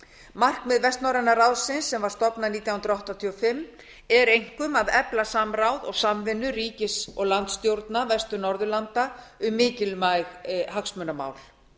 markmið vestnorræna ráðsins sem var stofnað nítján hundruð áttatíu og fimm er einkum að efla samráð og samvinnu ríkis og landsstjórna vestur norðurlanda um mikilvæg hagsmunamál